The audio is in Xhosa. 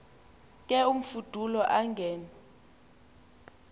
ke imfudulo angen